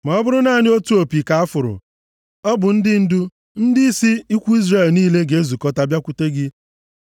Ma ọ bụrụ naanị otu opi ka a fụrụ, ọ bụ ndị ndu, ndịisi ikwu Izrel niile ga-ezukọta bịakwute gị.